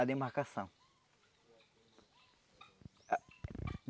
a demarcação.